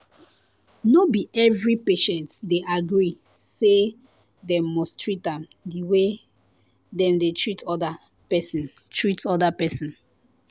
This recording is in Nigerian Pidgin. no be every patient dey agree say dem must treat am the same way dem dey treat other person treat other person